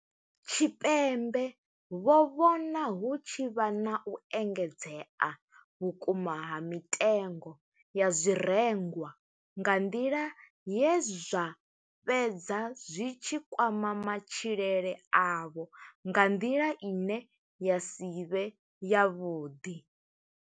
Tshipembe vho vhona hu tshi vha na u engedzea vhukuma ha mitengo ya zwirengwa nga nḓila ye zwa fhedza zwi tshi kwama matshilele avho nga nḓila ine ya si vhe yavhuḓi.